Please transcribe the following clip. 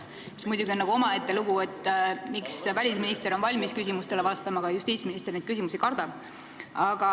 See on muidugi omaette lugu, miks välisminister on valmis küsimustele vastama, aga justiitsminister küsimusi kardab.